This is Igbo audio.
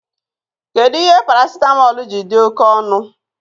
Kedụ ihe paracitamọl ji dị oké ọnụ